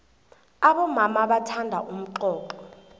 abomama bathanda umxoxho